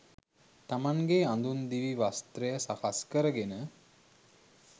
තමන්ගේ අඳුන් දිවි වස්ත්‍රය සකස් කරගෙන